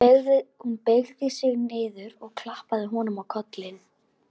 Hún beygði sig niður og klappaði honum á kollinn.